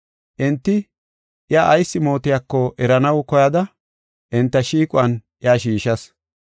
Enti iya ayis mootiyako eranaw koyada enta shiiquwan iya shiishas.